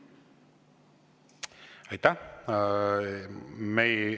Aitäh!